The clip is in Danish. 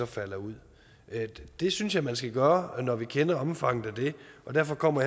falder ud det synes jeg man skal gøre når man kender omfanget af det og derfor kommer